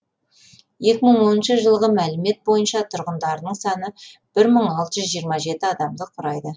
екі мың оныншы жылғы мәлімет бойынша тұрғындарының саны бір мың алты жүз жиырма жетінші адамды құрайды